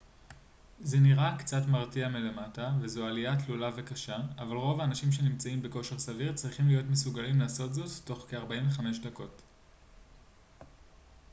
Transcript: זה נראה קצת מרתיע מלמטה וזו עלייה תלולה וקשה אבל רוב האנשים שנמצאים בכושר סביר צריכים להיות מסוגלים לעשות זאת תוך כ-45 דקות